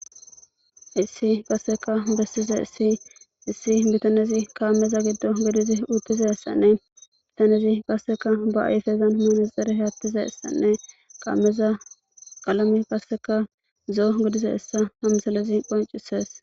issi qasseka bessiza issi issi bitanezi kaammeza giddo godizi uttiza essanne bitanezi qasseka ba ayfezan hmanaxere haattiza essanne qaameza qalame qasseka zoo godize essa hamsalezi qoncisees